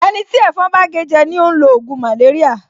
Ẹni tí ẹ̀fọn bá gé jẹ ni ó ń lo ògùn màléríà